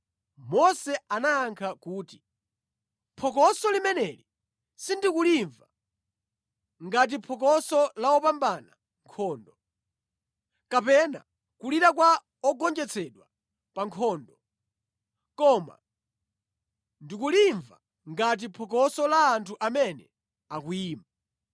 Mose anayankha kuti, “Phokoso limeneli sindikulimva ngati phokoso la opambana nkhondo, kapena kulira kwa ongonjetsedwa pa nkhondo. Koma ndikulimva ngati phokoso la anthu amene akuyimba.”